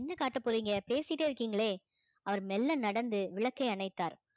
என்ன காட்ட போறீங்க பேசிட்டே இருக்கீங்களே அவர் மெல்ல நடந்து விளக்கை அணைத்தார்